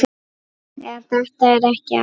En þetta er ekki allt.